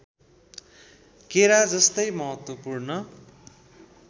केरा जस्तै महत्त्वपूर्ण